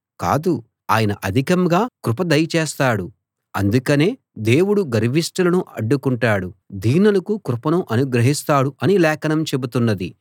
కాదు ఆయన అధికంగా కృప దయ చేస్తాడు అందుకనే దేవుడు గర్విష్టులను అడ్డుకుంటాడు దీనులకు కృపను అనుగ్రహిస్తాడు అని లేఖనం చెబుతున్నది